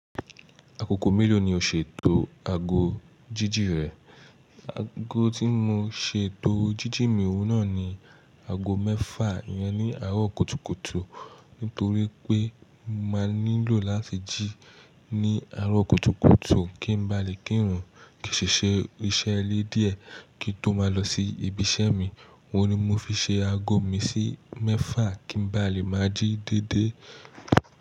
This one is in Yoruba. Ákòkò mélòó ni o ṣètò aágó jíjì rẹ? Aágo tí mo ṣe tó jíjì mi wọ́nà ni aágo mẹ́fà yẹn ní àárọ̀ kùtùkùtù. Nítorí pé màá nílò láti jí ní àárọ̀ kùtùkùtù kí n ba lè kírun, kí n ṣè ṣe iṣẹ́ ilé díẹ̀ kí n tó máa lọ sí ibi iṣẹ́ mi. Wọ́ ni mo fi ṣe aago mi sí mẹ́fà kí n ba lè máa jí dédé.